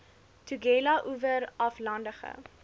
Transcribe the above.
tugela oewer aflandige